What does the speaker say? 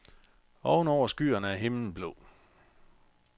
Oven over skyerne er himlen blå.